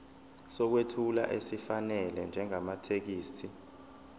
sokwethula esifanele njengamathekisthi